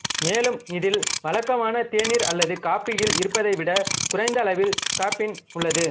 மேலும் இதில் வழக்கமான தேநீர் அல்லது காபியில் இருப்பதைவிடக் குறைந்த அளவில் காஃபின் உள்ளது